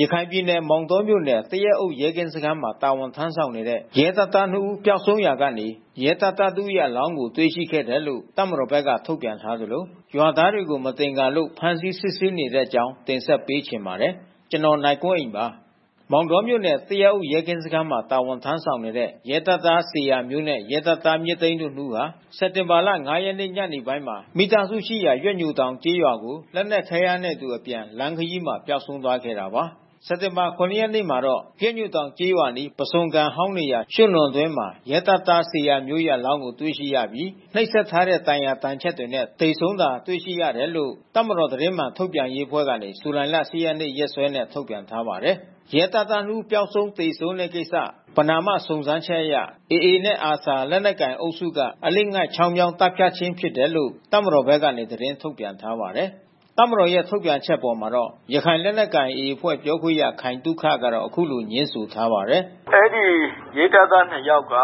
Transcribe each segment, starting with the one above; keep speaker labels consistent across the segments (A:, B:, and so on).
A: ရခိုင်ပြည်နယ်၊ မောင်တောမြို့နယ်၊ သရက်အုပ်ရဲကင်းစခန်းမှာ တာဝန်ထမ်းဆောင်နေတဲ့ ရဲတပ်သားနှစ်ဦး ပျောက်ဆုံးရာကနေ ရဲတပ်သားတဦးရဲ့အလောင်းကို တွေ့ရှိခဲ့တယ်လို့တပ်မတော်ဘက်က ထုတ်ပြန်ထားသလို ရွာသားတွေကို မသင်္ကာလို့ ဖမ်းဆီးစစ်ဆေးနေတဲ့အကြောင်း တင်ဆက်ပေးချင်ပါတယ်။ ဗွီအိုအေမြန်မာပိုင်းသတင်းထောက် ကိုနိုင်ကွန်းအိန်က သတင်းပေးပို့ထားပါတယ်။ မောင်တောမြို့နယ်၊ သရက်အုပ်ရဲကင်းစခန်းမှာ တာဝန်ထမ်းဆောင်နေတဲ ရဲတပ်သား ဇေယျာမျိုးနှင့် ရဲတပ်သား မြင့်သိန်းတို့ နှစ်ဦးဟာ စက်တင်ဘာ ၅ ရက် ညနေပိုင်းမှာ မိသားစုရှိရာ ရွက်ညိုတောင်ကျေးရွာကို လက်နက်ခဲ ယမ်းတွေနဲ့အတူအပြန် လမ်းခရီးမှာပျောက်ဆုံးသွားခဲ့တာပါ။ စက်တင်ဘာ ၇ ရက်နေ့မှာတော့ ရွက်ညိုတောင်ကျေးရွာအနီး ပုစွန်ကန်ဟောင်းနေရာ ရွှံ့နွံအတွင်းမှာ ရဲတပ်သား ဇေယျာမျိုးရဲ့ အလောင်းကို တွေ့ရှိရပြီး နှိပ်စက်ထားတဲ့ဒဏ်ရာဒဏ်ချက်တွေနဲ့ သေဆုံးတာတွေ့ရှိရတယ်လို့ တပ်မတော်သတင်းမှန်ထုတ်ပြန်ရေးအဖွဲ့က စက်တင်ဘာ ၈ ရက် ရက်စွဲနဲ့ ထုတ်ပြန်ထားပါတယ်။ ရဲတပ်သား နှစ်ဦးပျောက်ဆုံး သေဆုံးတဲ့ကိစ္စ ပဏာမ စုံစမ်းချက်အရ AA နှင့် ARSA လက်နက်ကိုင်အုပ်စုက အလစ် အငိုက်ချောင်းမြောင်းသတ်ဖြတ်ခြင်းဖြစ်တယ်လို့ တပ်မတော်ဖက်က သတင်းထုတ်ပြန်ထားပါတယ်။ တပ်မတော်ရဲ့ထုတ်ပြန်ချက်အပေါ် ရခိုင်လက်နက်ကိုင် AA အဖွဲ့ပြောခွင့်ရ ခိုင်သုခက အခုလိုငြင်းဆိုထားပါတယ်။
B: "အဲဒီရဲတပ်သား ၂ ယောက်က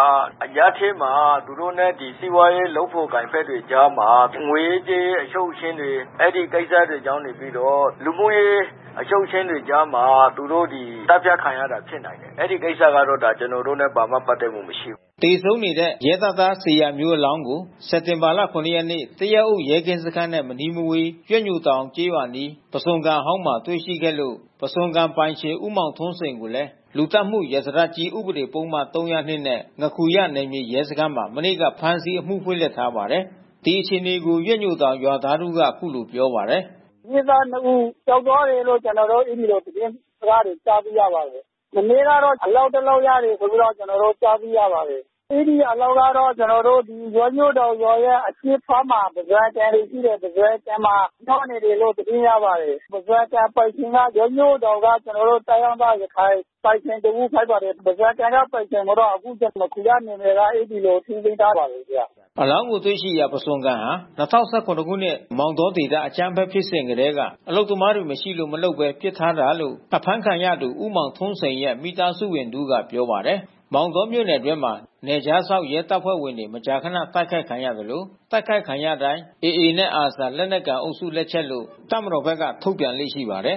B: အရပ်ထဲမှာ သူတို့နဲ့စီးပွားရေး လုပ်ဖေါ်ကိုင်ဖက်တွေအကြားမှာ ငွေရေးကြေးရေး အရှုပ်အရှင်းတွေ အဲဒီကိစ္စတွေကြောင့်နေပြီးတော့ လူမှုရေးအရှုပ်အရှင်းတွေကြားမှာ သူတို့သတ်ဖြတ်ခံရတာ ဖြစ်နိုင်တယ်။ အဲဒီကိစ္စကတော့ ကျနော်တို့နဲ့ ဘာမှပတ်သက်မှုမရှိဘူး။” သ
A: ေဆုံးနေတဲ့ ရဲတပ်သားဇေယျာမျိုးအလောင်းကို စက်တင်ဘာ ၇ ရက်နေ့ သရက်အုပ်ရဲကင်းစခန်းနဲ့မနီးမဝေး ရွက်ညိုတောင်ကျေးရွာအနီး ပုစွန်ကန်အဟောင်းမှာ တွေ့ရှိခဲ့လို့ ပုဇွန်ကန်ပိုင်ရှင် ဦးမောင်ထွန်းစိန်ကိုလဲ လူသတ်မှု ရာဇသတ်ကြီး ဥပဒေပုဒ်မ ၃၀၂ နဲ့ ငါးခူရနယ်မြေရဲစခန်းမှာ မနေ့က ဖမ်းဆီးအမှုဖွင့်လှစ်ထားပါတယ်။ ဒီအခြေအနေကို ရွက်ညိုတောင်ရွာသားတဦးက အခုလိုပြောပါတယ်။
C: "စစ်သားနှစ်ဦးပျောက်သွားတယ်လို့ ကျနော်တို့ အဲဒီလိုသတင်းစကားကြားသိရပါတယ်။ မနေ့ကတော့ အလောင်း တလောင်း ရတယ်ဆိုပြီးတော့ ကျနော်တို့ ကြားသိရပါတယ်။ အဲဒီအလောင်းကတော့ ကျနော်တို့ ရွက်ညိုတောင်ရွာရဲ့ အရှေ့ပိုင်းမှာ ပုဇွန်ကန်တွေရှိတယ်။ ပုဇွန်ကန်မှာ မျောနေတယ်လို့ သတင်းရပါတယ်။ ပုဇွန်ကန်ပိုင်ရှင်က ရွက်ညိုတောင်ရွာက ကျနော်တို့ တိုင်းရင်းသား ရခိုင်ပိုင်ရှင် တဦးဖြစ်ပါတယ်။ ပုဇွန်ကန်က ပိုင်ရှင်ကိုတော့ အခု ငါးခူရနယ်မြေက အဲဒီလိုထိန်းသိမ်းထားပါတယ်။
A: ” အလောင်းတွေ့ရှိရာ ပုဇွန်ကန်ဟာ ၂၀၁၇ မောင်တောဒေသအကြမ်းဖက်ဖြစ်စဉ်ကတည်းက အလုပ်သမားတွေ မရှိလို့ မလုပ်ဘဲ ပစ်ထားတာလို့ အဖမ်းခံရသူ ဦးမောင်ထွန်းစိန်ရဲ့ မိသားစုဝင်တဦးက ပြောပါတယ်။ မောင်တောမြို့နယ်အတွင်းမှာ နယ်ခြားစောင့်ရဲတပ်ဖွဲ့ဝင်တွေ မကြာခဏ တိုက်ခိုက်ခံရသလို တိုက်ခိုက်ခံရတိုင်း AA နှင့် ARSA လက်နက်ကိုင်အုပ်စုလက်ချက်လို့ တပ်မတော်ဘက်ကထုတ်ပြန်လေ့ရှိပါတယ်